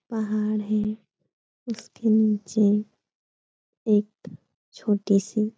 पहाड़ है। उसके नीचे एक छोटी सी --